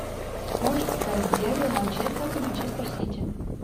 можешь повторить дерби манчестер манчестер сити